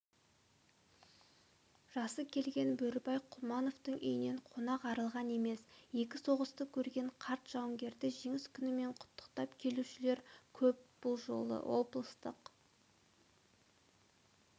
жасы келген бөрібай құлмановтың үйінен қонақ арылған емес екі соғысты көрген қарт жауынгерді жеңіс күнімен құттықтап келушілер көп бұл жолы облыстық